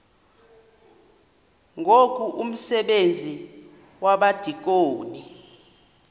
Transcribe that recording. ngoku umsebenzi wabadikoni